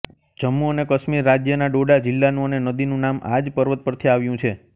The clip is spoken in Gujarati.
જમ્મુ અને કાશ્મીર રાજ્યના ડોડા જિલ્લાનું અને નદીનું નામ આ જ પર્વત પરથી આવ્યું છે